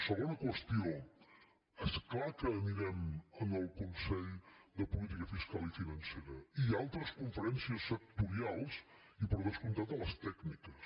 segona qüestió és clar que anirem al consell de política fiscal i financera i a altres conferències sectorials i per descomptat a les tècniques